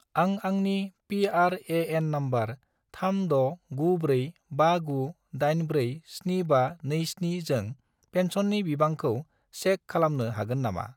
आं आंनि P R A N. Number 369459847527 जों पेन्सननि बिबांखौ चेक खालामनो हागोन नामा?